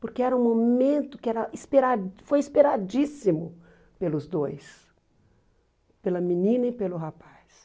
Porque era um momento que era espera foi esperadíssimo pelos dois, pela menina e pelo rapaz.